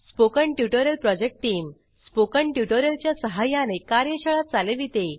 spoken tutorial project team spoken tutorial च्या सहाय्याने कार्यशाळा चालविते